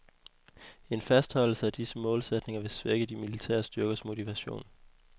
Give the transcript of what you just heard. En fastholdelse af disse målsætninger vil svække de militære styrkers motivation.